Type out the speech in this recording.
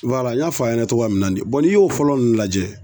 Wala n y'a fɔ a ɲɛna cogo min na de bɔn n'i y'o fɔlɔ nunnu lajɛ